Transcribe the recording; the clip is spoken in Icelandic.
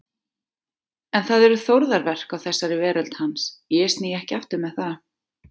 En það eru Þórðarverk á þessari veröld hans, ég sný ekki aftur með það.